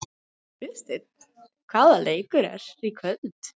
Guðsteinn, hvaða leikir eru í kvöld?